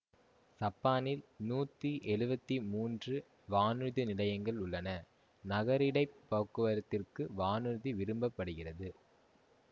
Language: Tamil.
சப்பானில் நூற்றி எழுவத்தி மூன்று வானூர்தி நிலையங்கள் உள்ளன நகரிடைப் போக்குவரத்திற்கு வானூர்தி விரும்பப்படுகிறது